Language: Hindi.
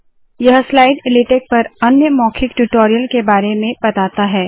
यह स्लाइड लेटेक पर अन्य मौखिक ट्यूटोरियल के बारे में बताता है